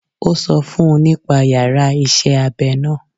Ó sọ fún un nípa yàrá iṣẹ́ abẹ náà.